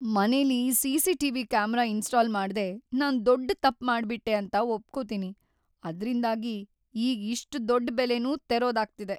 ಮನೆಲಿ CCTV. Camera install ಮಾಡ್ದೇ ನಾನ್‌ ದೊಡ್ಡು ತಪ್ಪ್‌ ಮಾಡ್ಬಿಟ್ಟೆ ಅಂತ ಒಪ್ಕೊತೀನಿ, ಅದ್ರಿಂದಾಗಿ ಈಗ್ ಇಷ್ಟ್‌ ದೊಡ್ಡ್ ಬೆಲೆನೂ ತೆರೋದಾಗ್ತಿದೆ.